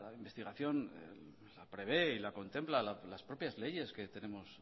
investigación la prevé y la contempla las propias leyes que tenemos